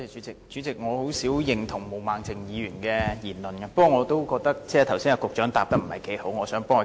主席，我很少認同毛孟靜議員的言論，但我也覺得局長剛才沒有好好作答。